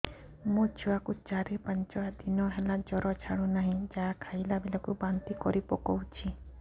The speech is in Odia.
ମୋ ଛୁଆ କୁ ଚାର ପାଞ୍ଚ ଦିନ ହେଲା ଜର ଛାଡୁ ନାହିଁ ଯାହା ଖାଇଲା ବେଳକୁ ବାନ୍ତି କରି ପକଉଛି